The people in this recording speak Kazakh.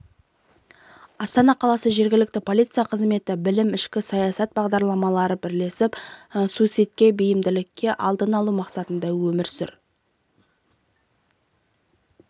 астана қаласы жергілікті полиция қызметі білім ішкі саясат басқармалары бірлесіп суицидке бейімділіктін алдын алу мақсатында өмір